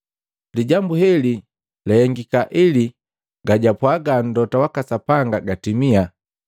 Lijambu heli la hengika ili gajwapwaga mlota waka Sapanga gatimia,